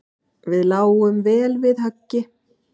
Við lágum vel við höggi.